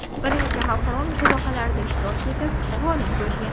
Bir necha xalqaro musobaqalarda ishtirok etib, g‘olib bo‘lgan.